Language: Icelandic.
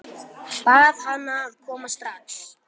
Bað hana að koma strax.